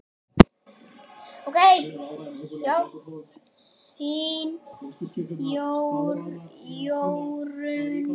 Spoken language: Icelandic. Þín Jórunn.